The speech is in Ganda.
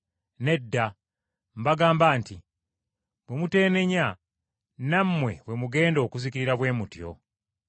Nedda! Mbagamba nti bwe muteenenya nammwe bwe mugenda okuzikirira bwe mutyo.”